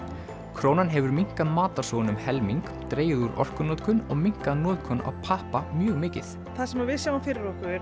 krónan hefur minnkað matarsóun um helming dregið úr orkunotkun og minnkað notkun á pappa mjög mikið það sem við sjáum fyrir okkur